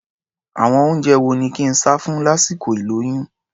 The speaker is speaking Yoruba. Àwọn oúnjẹ wo ni kí n sá fún lásìkol ìlóyún?